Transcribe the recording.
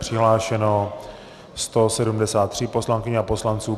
Přihlášeno 173 poslankyň a poslanců.